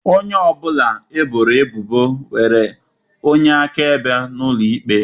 Onye ọ bụla eboro ebubo nwere onye akaebe n'ụlọ ikpe iwu